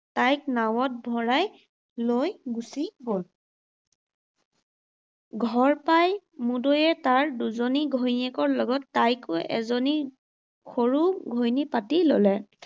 তাইক নাৱত ভৰাই লৈ গুচি গ’ল। ঘৰ পাই মুদৈয়ে তাৰ দুজনী ঘৈণীয়েকৰ লগত তাইকো এজনী সৰু ঘৈণী পাতি ল’লে।